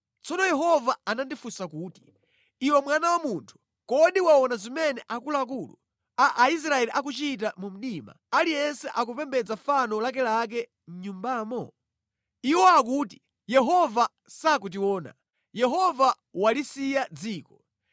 Tsono Yehova anandifunsa kuti, “Iwe mwana wa munthu, kodi waona zimene akuluakulu a Aisraeli akuchita mu mdima, aliyense akupembedza fano lakelake mʼnyumbamo? Iwo akuti, ‘Yehova sakutiona; Yehova walisiya dziko!’